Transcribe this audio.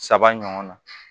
Saba ɲɔgɔn na